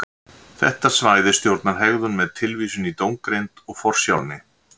Þetta svæði stjórnar hegðun með tilvísun í dómgreind og forsjálni.